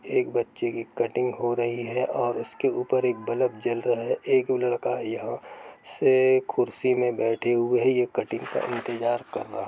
एक बच्चे कि कटिंग हो रही है औए उसके उपर एक बलब जल रहे है एक लड़का यहाँ से कुर्सी मे बैठे हुए है। ये कटिंग का इंतज़ार कर रहा --